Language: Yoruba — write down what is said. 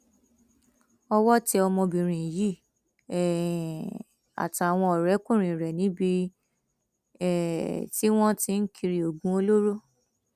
ọwọ tẹ ọmọbìnrin yìí um àtàwọn ọrẹkùnrin rẹ níbi um tí wọn ń tì ń kiri oògùn olóró